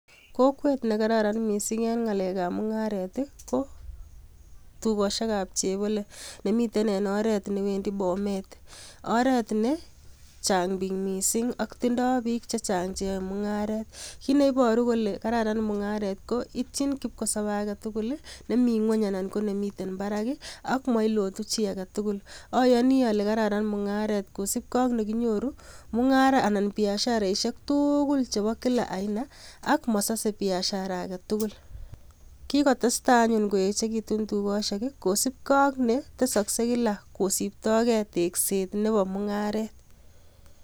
Kokwet nekararan mising en ng'alekab mung'aret ko tukoshekab chepole nemiten en oreet newendi Bomet, oreet nechang biik mising ak tindo biik chechang cheyoe mung'aret, kiit neiboru kole kararan mung'aret ko ityin kipkosope aketukul nemi ng'weny anan nemiten barak ak moilotu chii aketukul, oyoni olee kararan mung'aret kosipkee ak nekinyoru mung'ara anan biasharaishek tukul chebo kila aina ak mosose biashara aketukul, kikotesta anyun koechekitun tukoshek kosipkee ak netesokse kila kosiptokee tekset nebo mung'aret.